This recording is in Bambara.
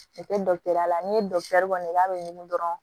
la n'i ye kɔni k'a bɛ ɲugu dɔrɔn